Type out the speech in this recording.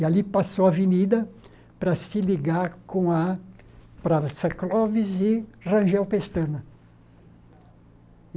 E ali passou a avenida para se ligar para Sacloves e Rangel Pestana.